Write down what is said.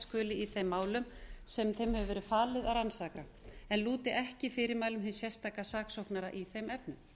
skuli í þeim málum sem þeim hefur verið falið að rannsaka en lúti ekki fyrirmælum hins sérstaka saksóknara í þeim efnum